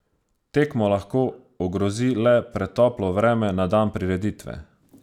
Tekmo lahko ogrozi le pretoplo vreme na dan prireditve.